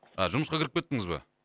а жұмысқа кіріп кеттіңіз ба